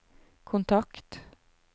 kontakt